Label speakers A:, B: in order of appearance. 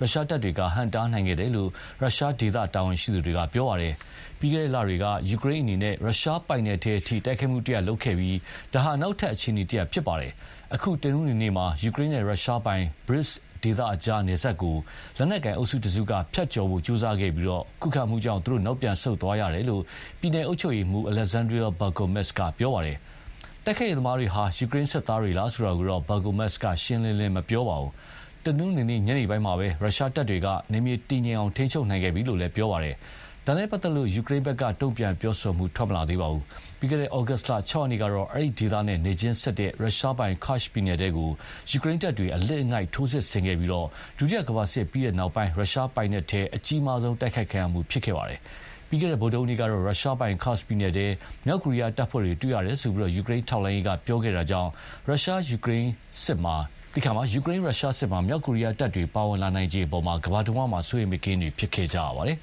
A: ရုရှားတပ်တွေကဟန့်တားနိုင်ခဲ့တယ်လို့ ရုရှားဒေသတာဝန်ရှိသူတွေက ပြောပါတယ်။ ပြီးခဲ့တဲ့လတွေက ယူကရိန်းအနေနဲ့ ရုရှားပိုင်နက်ထဲအထိ တိုက်ခိုက်မှုတရပ်လုပ်ခဲ့ပြီး ဒါဟာ နောက်ထပ် အခြေအနေတရပ်ဖြစ်ပါတယ်။ အခု တနင်္ဂနွေနေ့မှာ ယူကရိန်းနဲ့ ရုရှားပိုင် Bryansk ဒေသကြားနယ်စပ်ကို လက်နက်ကိုင်အုပ်စုတစုက ဖြတ်ကျော်ဖို့ကြိုးစားခဲ့ပြီး ခုခံမှုကြောင့် သူတို့ နောက်ပြန်ဆုတ်သွားရတယ်လို့ ပြည်နယ်အုပ်ချုပ်ရေးမှူး Aleksandr Bogomaz ကပြောပါတယ်။ တိုက်ခိုက်ရေးသမားတွေဟာ ယူကရိန်းစစ်သားတွေလား ဆိုတာကိုတော့ Bogomaz ကရှင်းရှင်းလင်းလင်း မပြောပါဘူး။ တနင်္ဂနွေနေ့ ညနေပိုင်းမှာပဲ ရုရှားတပ်တွေက နယ်မြေတည်ငြိမ်အောင် ထိန်းချုပ်နိုင်ခဲ့ပြီလို့ ပြောပါတယ်။ ဒါနဲ့ပတ်သက်လို့ ယူကရိန်းဘက်က တုံ့ပြန်ပြောဆိုမှု ထွက်မလာသေးပါဘူး။ ပြီးခဲ့တဲ့ ဩဂုတ်လ ၆ ရက်နေ့ကတော့ အဲဒီဒေသနဲ့ နယ်ချင်းစပ် ရုရှားပိုင် Kursk ပြည်နယ်ထဲကို ယူကရိန်းတပ်တွေအလစ်အငိုက်ထိုးစစ်ဆင်ခဲ့တာဟာဆိုရင် ဒုတိယကမ္ဘာစစ်ပြီးတဲ့နောက် ရုရှား ပိုင်နက်ကို အကြီးမားဆုံး တိုက်ခိုက်ခံရမှုဖြစ်ခဲ့ပါတယ်။ ပြီးခဲ့တဲ့ ဗုဒ္ဓဟူးနေ့ကတော့ ရုရှားပိုင် Kursk ပြည်နယ်ထဲ မြောက်ကိုရီးယားတပ်ဖွဲ့တွေ တွေ့ရတယ်လို့ ယူကရိန်းထောက်လှမ်းရေးက ပြောခဲ့တာ ကြောင့် ယူကရိန်း ရုရှားစစ်မှာ မြောက်ကိုရီးယားတပ်တွေပါဝင်လာနိုင်ခြေအပေါ်ကမ္ဘာတဝှမ်း စိုးရိမ်မကင်းဖြစ်ခဲ့ကြပါတယ်။